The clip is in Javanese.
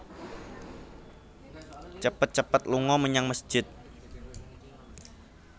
Cepet cepet lunga menyang mesjid